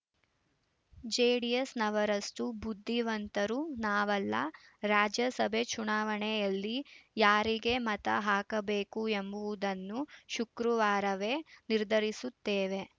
ಜೆಡಿಎಸ್‌ನವರಷ್ಟು ಬುದ್ಧಿವಂತರು ನಾವಲ್ಲ ರಾಜ್ಯಸಭೆ ಚುನಾವಣೆಯಲ್ಲಿ ಯಾರಿಗೆ ಮತ ಹಾಕಬೇಕು ಎಂಬುದನ್ನು ಶುಕ್ರವಾರವೇ ನಿರ್ಧರಿಸುತ್ತೇವೆ